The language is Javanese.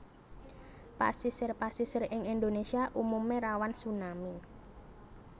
Pasisir pasisir ing Indonesia umume rawan tsunami